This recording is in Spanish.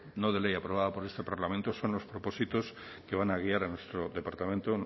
no de ley aprobada por este parlamento son los propósitos que van a guiar a nuestro departamento